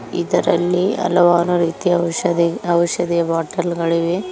ಇದರಲ್ಲಿ ಹಲವಾರು ರೀತಿಯ ಔಷಧಿ ಔಷಧಿಯ ಬಾಟಲ್ ಗಳಿವೆ.